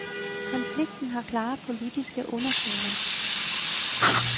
Konflikten har klare politiske undertoner.